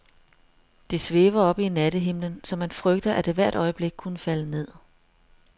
Det svæver oppe i nattehimlen, så man frygter, at det hvert øjeblik kunne falde ned.